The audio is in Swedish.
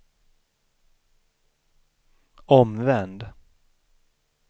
omvänd